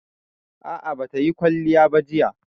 A'a, ba ta yi kwalliya ba jiya